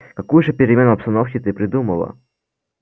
какую же перемену обстановки ты придумала